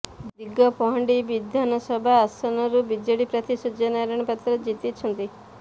ଦିଗପହଣ୍ଡି ବିଧାନସଭା ଆସନରୁ ବିଜେଡି ପ୍ରାର୍ଥୀ ସୂର୍ଯ୍ୟ ନାରାୟଣ ପାତ୍ର ଜିତିଛନ୍ତିା